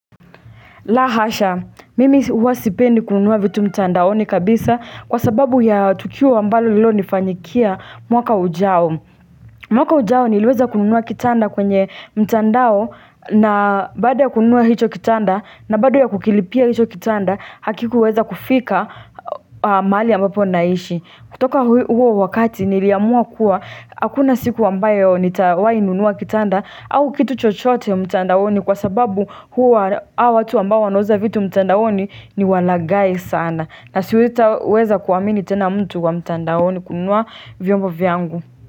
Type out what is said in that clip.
Lahasha, mimi huwa sipendi kununua vitu mtandaoni kabisa kwa sababu ya tukio ambalo lililo nifanyikia mwaka ujao mwaka ujao niliweza kununua kitanda kwenye mtandao na baada ya kununua hicho kitanda na baada ya kukilipia hicho kitanda hakikuweza kufika mahali ambapo naishi kutoka huo wakati niliamua kuwa akuna siku ambayo nitawainunua kitanda au kitu chochote mtandaoni kwa sababu huo hao watu ambao wanauza vitu mtandaoni ni walagai sana na siweza kuamini tena mtu wa mtandaoni kununua vyombo vyangu.